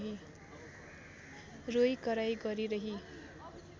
रोइकराइ गरिरही